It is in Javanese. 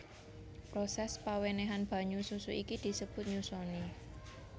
Prosès pawènèhan banyu susu iki disebut nyusoni